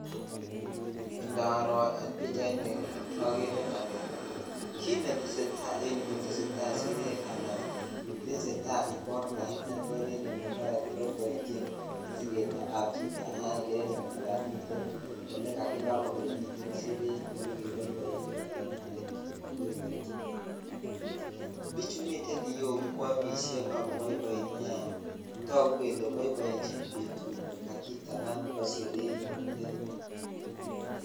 Indaro en pichaini okere olee kiit neteseta en yuu koteseta Sheree Alan teseta ikorta neter en elee mara kiboiboienchin siketab chito aeng'e en yuu alaan miten olekakiba olemiten sheree elee olekeboiboitu alaan miiten kiit nekeboiboenchin en yuu, bichu miten iyeuu kwomishe ak koboiboi neaa tokuu kelee boiboenchin betuni kakitaban betuni bo sheree nitet.